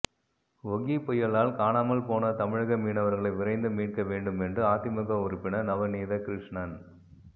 ஒகி புயலால் காணாமல் போன தமிழக மீனவர்களை விரைந்து மீட்க வேண்டும் என்று அதிமுக உறுப்பினர் நவநீத கிருஷ்ணன்